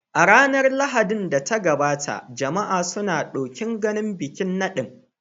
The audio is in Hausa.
A ranar Lahadin da ta gabata, jama'a suna ɗokin ganin bikin nadin.